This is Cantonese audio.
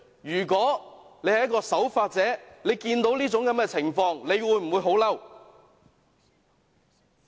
如果大家是守法者，看到這種情況，會否很憤怒？